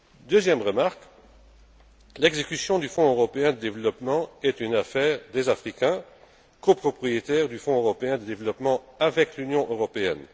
Deuxième remarque l'exécution du Fonds européen de développement est l'affaire des Africains, copropriétaires du Fonds européen de développement avec l'Union européenne.